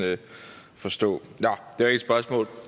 forstå